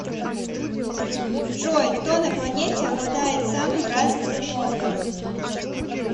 джой кто на планете обладает самым развитым мозгом